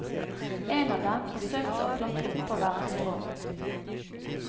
En av dem forsøkte å klatre oppover et strå.